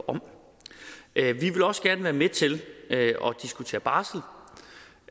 om vi vil også gerne være med til at diskutere barsel